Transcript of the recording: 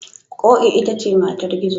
Ƙoƙi ita ce matar Gizo.